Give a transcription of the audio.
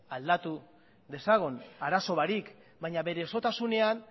aldatu dezagun arazo barik baina bere osotasunean